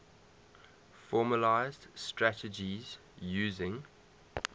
formalised strategies using